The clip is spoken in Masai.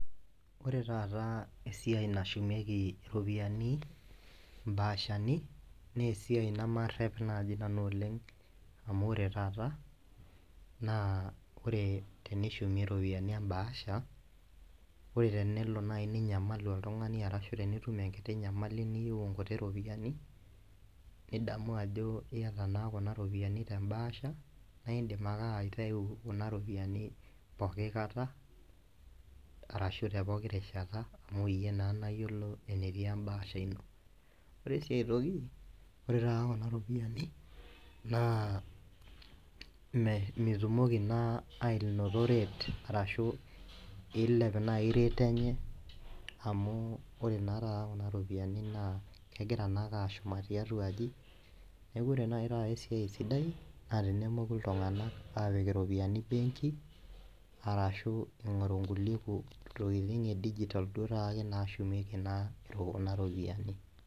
Ore taata esiai nashumieki iropiyiani mbaashani naa esiai nemarep naji nanu oleng amu ore taata naa tenishumie ropiyiani embaasha , ore nai tenelo ninyamalu oltungani arashu teniyieu enkiti nyamali niyieu iropiyiani , nidamu ajo iata naa kuna ropiyiani tembaasha naa indim ake aitau kuna ropiyiani pooki kata arashu tepoki rishata amu iyie naa nayiolo enetii embaasha ino. Ore siiae toki ore taata kuna ropiyiani naa metumoki naa anoto rate ashu milej nai rate enye amu ore naa taata kuna ropiyiani naa kegira naake ashuma tiatua aji niaku ore naa taata ewuei sidai naa tenemoku iltunganak apik benki arashu ingoru nkulie tokitin edigital duake nashumieki naa kuna ropiyiani.